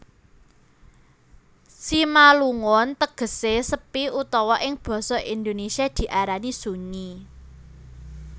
Simalungun tegesé sepi utawa ing basa Indonesia diarani sunyi